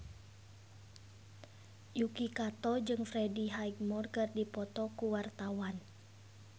Yuki Kato jeung Freddie Highmore keur dipoto ku wartawan